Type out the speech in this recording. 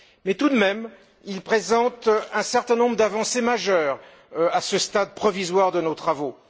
Mais, tout de même, il présente un certain nombre d'avancées majeures, à ce stade provisoire de nos travaux.